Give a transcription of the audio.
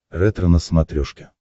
ретро на смотрешке